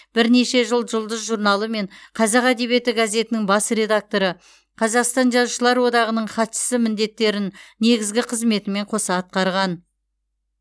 бірнеше жыл жұлдыз журналы мен қазақ әдебиеті газетінің бас редакторы қазақстан жазушылар одағының хатшысы міндеттерін негізгі қызметімен қоса атқарған